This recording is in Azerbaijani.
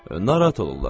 Narahat olurlar.